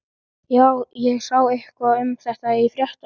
Já, ég sá eitthvað um þetta í fréttunum.